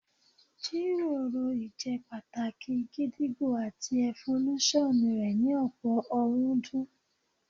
Jíròrò ìjẹ́pàtàkì gídígbò àti ẹfolúṣọ̀n rẹ̀ ní ọ̀pọ̀ ọ̀rúndún